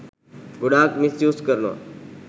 ගොඩාක් misuse කරනවා.